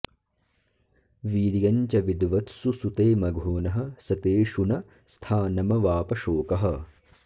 वीर्यं च विद्वत्सु सुते मघोनः स तेषु न स्थानमवाप शोकः